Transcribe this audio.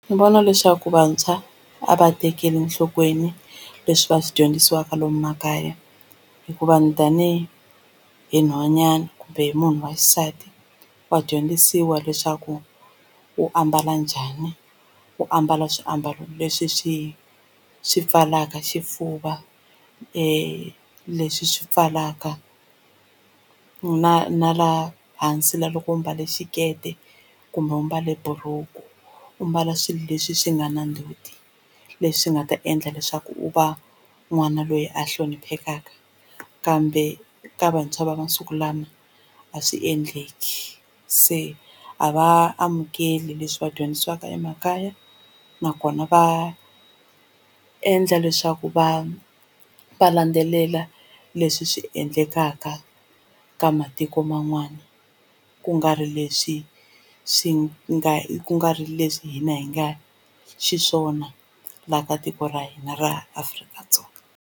Ni vona leswaku vantshwa a va tekeli enhlokweni leswi va swi dyondzisiwaka lomu makaya hikuva ni tani hi nhwanyana kumbe hi munhu wa xisati wa dyondzisiwa leswaku u ambala njhani u ambala swiambalo leswi swi swi pfalaka xifuva leswi swi pfalaka na na laha hansi loko u mbale xikete kumbe u mbale buruku u mbala swilo leswi swi nga na ndzhuti leswi nga ta endla leswaku u va n'wana loyi a hloniphekaku kambe ka vantshwa va masiku lama a swi endleki se a va amukeli leswi va dyondzisiwaka emakaya nakona va endla leswaku va va landzelela leswi swi endlekaka ka matiko man'wana ku nga ri leswi swi nga ku nga ri leswi hina hi nga xiswona la ka tiko ra hina ra Afrika-Dzonga.